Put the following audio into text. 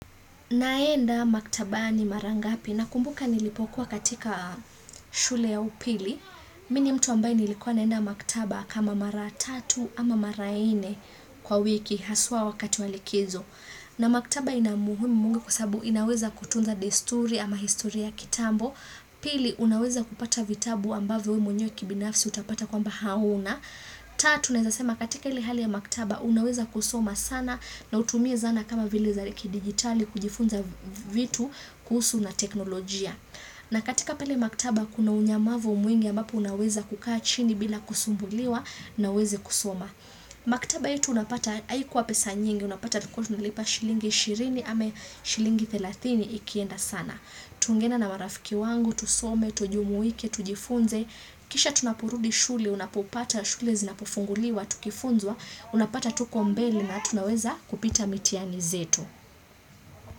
Naenda maktabani mara ngapi? Nakumbuka nilipokuwa katika shule ya upili, mi ni mtu ambaye nilikuwa naenda maktaba kama mara tatu ama mara nne kwa wiki haswa wakati wa likizo. Na maktaba ina muhimu kwa sababu inaweza kutunza desturi ama historia kitambo, pili unaweza kupata vitabu ambavyo we mwenyewe kibinafsi utapata kwamba hauna, tatu naeza sema katika ile hali ya maktaba unaweza kusoma sana na utumie zana kama vile za kidigitali kujifunza vitu kuhusu na teknolojia. Na katika pale maktaba kuna unyamavu mwingi ambapo unaweza kukaa chini bila kusumbuliwa na uweze kusoma. Maktaba yetu unapata haikuwa pesa nyingi, unapata tulikuwa tunalipa shilingi ishirini ama shilingi thelathini ikienda sana. Tungeenda na marafiki wangu, tusome, tujumuike, tujifunze. Kisha tunaporudi shule, unapopata, shule zinapofunguliwa, tukifunzwa, unapata tuko mbele na tunaweza kupita mitihani zetu.